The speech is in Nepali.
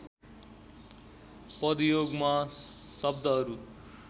पदयोगमा शब्दहरू